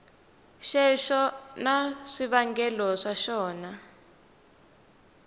xexo na swivangelo swa xona